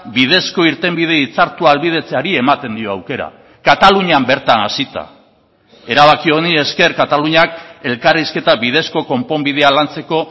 bidezko irtenbide hitzartua ahalbidetzeari ematen dio aukera katalunian bertan hasita erabaki honi ezker kataluniak elkarrizketa bidezko konponbidea lantzeko